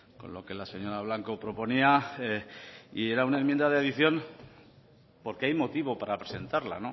con lo que la señora blanco proponía y era una enmienda de adición porque hay motivo para presentarla